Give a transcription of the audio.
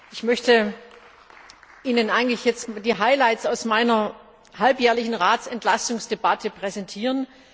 Ich möchte Ihnen jetzt die Highlights aus meiner halbjährlichen Ratsentlastungsdebatte präsentieren.